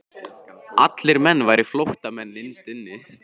Allir menn væru flóttamenn innst inni.